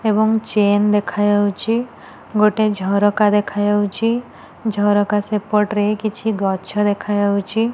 ଏବଂ ଚେନ୍ ଦେଖାଯାଉଛି। ଗୋଟେ ଝରକା ଦେଖା ଯାଉଛି। ଝରକା ସେପଟ୍ରେ କିଛି ଗଛ ଦେଖାଯାଉଛି।